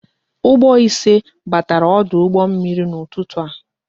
Ụgbọ ise batara ọdụ ụgbọ mmiri n'ụtụtụ a